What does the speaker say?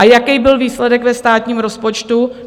A jaký byl výsledek ve státním rozpočtu?